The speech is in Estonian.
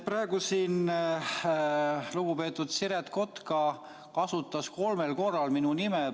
Praegu siin lugupeetud Siret Kotka kasutas kolmel korral minu nime.